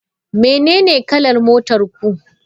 Menene kalar motar ku?